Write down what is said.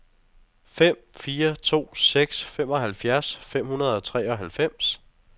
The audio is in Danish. fem fire to seks femoghalvfjerds fem hundrede og treoghalvfems